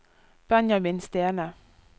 Benjamin Stene